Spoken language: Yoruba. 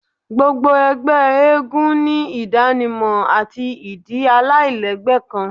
Gbogbo ẹgbẹ eégún ni idanimọ ati idi alailẹgbẹ kan